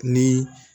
Ni